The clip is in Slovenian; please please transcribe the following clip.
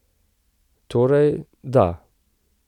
Torej, da.